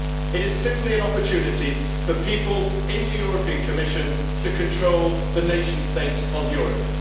it is simply an opportunity for people in the Commission to control the nation states of Europe.